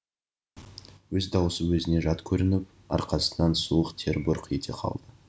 өз даусы өзіне жат көрініп арқасынан суық тер бұрқ ете қалды